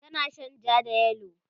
tana Shan jaa da yellow